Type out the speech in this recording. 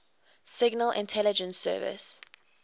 signal intelligence service